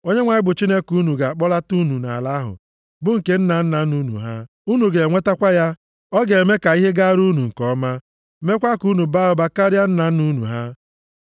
Onyenwe anyị bụ Chineke unu ga-akpọlata unu nʼala ahụ bụ nke nna nna unu ha. Unu ga-enwetakwa ya, ọ ga-eme ka ihe gara unu nke ọma, meekwa ka unu baa ụba karịa nna nna unu ha.